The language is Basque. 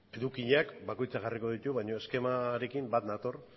edukiak bakoitza jarriko ditu baino eskemarekin banator